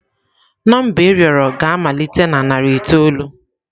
Nọmba ị rịọrọ ga-amalite na narị itoolu.